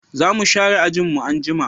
Zamu share ajin mu anjima